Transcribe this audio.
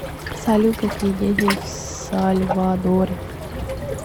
салют какие деньги в сальвадоре